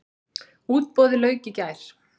Útboði lauk í gær.